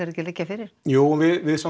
ekki að liggja fyrir jú en við